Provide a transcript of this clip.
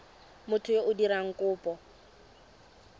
motho yo o dirang kopo